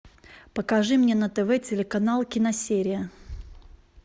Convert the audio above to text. покажи мне на тв телеканал киносерия